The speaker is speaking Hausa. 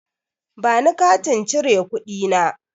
Bani Katin cire kuɗi na.